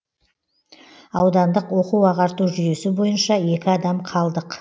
аудандық оқу ағарту жүйесі бойынша екі адам қалдық